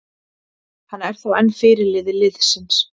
Hann er þó enn fyrirliði liðsins.